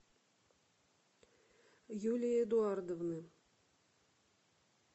юлии эдуардовны